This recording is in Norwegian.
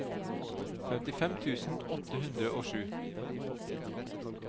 femtifem tusen åtte hundre og sju